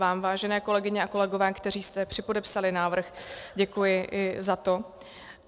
Vám, vážené kolegyně a kolegové, kteří jste připodepsali návrh, děkuji i za to.